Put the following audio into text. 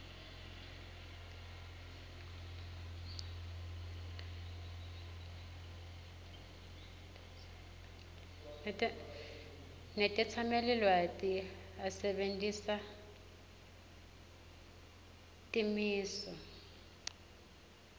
netetsamelilwati asebentisa timiso